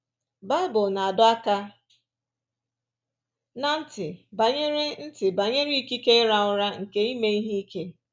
Baịbụl na-adọ aka ná ntị banyere ntị banyere ikike ịra ụra nke ime ihe ike.